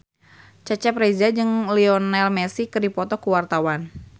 Cecep Reza jeung Lionel Messi keur dipoto ku wartawan